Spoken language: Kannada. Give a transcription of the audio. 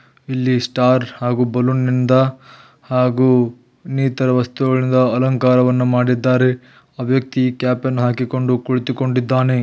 ಇಲ್ಲಿ ಸ್ಟಾರ್ ಹಾಗೂ ಬಲೂನ್ ನಿಂದ ಹಾಗೂ ಇನ್ನಿತರ ವಸ್ತುಗಳಿಂದ ಅಲಂಕಾರ ಮಾಡಿದ್ದಾರೆ ಆ ವ್ಯಕ್ತಿ ಕ್ಯಾಪ್ ಅನ್ನು ಹಾಕಿಕೊಂಡು ಕುಳಿತು ಕೊಂಡಿದ್ದಾನೆ.